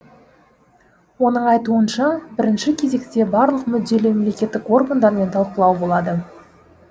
оның айтуынша бірінші кезекте барлық мүдделі мемлекеттік органдармен талқылау болады